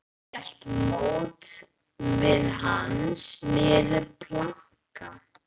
Hún hélt til móts við hann niður plankana.